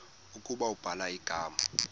ukuba ubhala igama